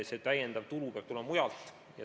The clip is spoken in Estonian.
See lisatulu peab tulema mujalt.